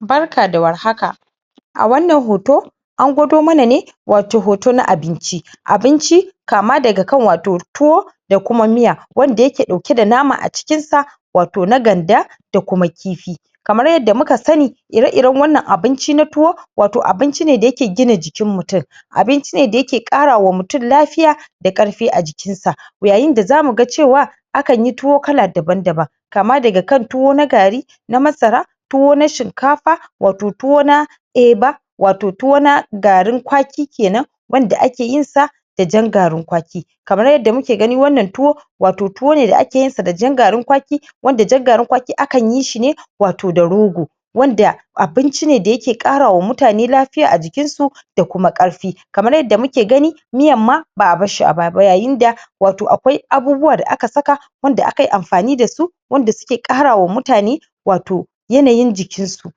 barka da war haka a wannan hoto an gwado mana ne wato hoto na abinci abinci kama daga kan wato tuwo da kuma miya wanda yake dauke da nama a cikin sa wato na ganda da kuma kifi kamar yadda muka sani ire ire wannan abinci na tuwo wato abinci ne da yake gina jikin mutum abinci ne da yake kara wa mutum lafiya da karfi a jikin sa yayin da zamu ga cewa akanyi tuwo kala daban daban kama daga kan tuwo na gari na masara tuwo na shinkafa wato tuwo na eba wato tuwo na garin kwaki kenan wanda akeyin sa da jan garin kwaki kamar yadda muke gani wannan tuwo wato tuwo ne da akeyin sa da jan garin kwaki wanda jan garin kwaki akan yi shi ne wato da rogo wanda abinci ne da yake kara wa mutane lafiya a jikin su da kuma karfi kamar yadda muke gani miyan ma ba'a barshi a baya ba yayin da wato akwai abubuwa da aka saka wanda aka yi amfani da su wanda suke kara wa mutane wato yanayin jikin su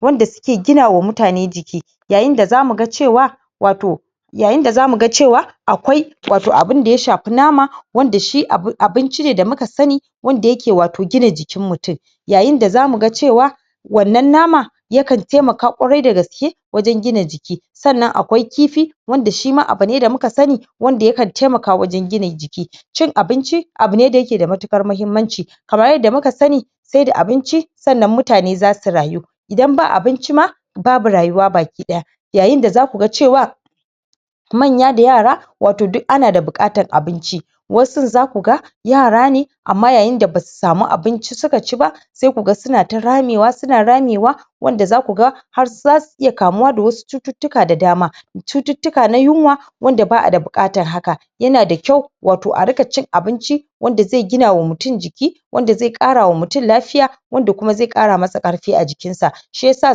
wanda suke gina wa mutane jiki yayin da zamu ga cewa wato yayin da zamu ga cewa akwai wato abinda ya shfe nama wanda shi abinci ne da muka sani wanda yake wato gina jikin mutum yayin da zamu ga cewa wannan nama yakan taimaka kwarai dagaske wajen gina jiki sannan akwai kifi wanda shima abune da muka sani wanda yakan taimaka wajen gina jiki cin abinci abune da yake da matukar mahimmanci kamar yanda muka sani sai da abinci sannan mutane zasu rayu idan ba abinci ma babu rayuwa baki daya yayin da zaku ga cewa manya da yara wato duk ana da bukatan abinci wasun zaku ga yara ne amma yayinda basu samu abinci suka ci ba sai kuga suna ta ramewa suna ramewa wanda zakuga har zasu iya kamuwa da wasu cututtuka da dama cututtuka na yunwa wanad ba'a da bukatar haka yana da kyau wato a ringa cin abinci wanda zai gina wa mutum jiki wanda zai kara wa mutum lafiya wanda kuma zai kara masa karfi a jikin sa shiyasa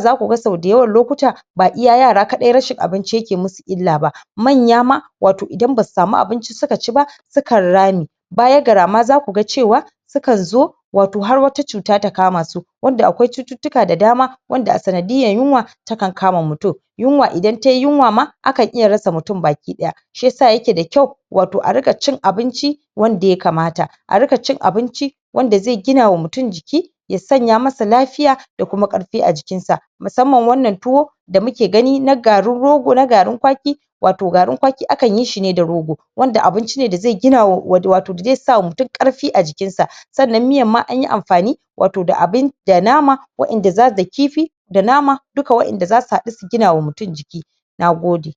zaku ga sau dayawan lokuta ba iya yara kadai rashin abinci ke musu illa ba manya ma wato idan basu samu abici suka ci ba su kan rame baya ga rama zaku ga cewa su kan zo wato har wata cuta ta kama su wanda akwai cututtuka da dama wanda a sanadiyan yunwa yakan yunwa idan tayi yunwa ma akan iya rasa mutum baki daya shiyasa yake da kyau wato a ringa cin abinci wanda ya kamata a ringa cin abinci wanda zai gina wa mutum jiki ya sanya masa lafiya da kuma karfi a jikin sa musamman wannan tuwo da muke gani na garin rogo na garin kwaki wato garin kwaki akanyi shi ne da rogo wanda abinci ne da ze gina wato da zai sa wa mutum karfi a jikin sa sabida miyan ma anyi amfani wato da abin da nama wa'en da kifi da nama duka wa'en da zasu hadu su gina wa mutum jiki nagode